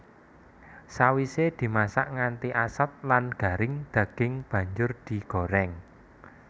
Sawise dimasak nganti asat lan garing daging banjur digorèng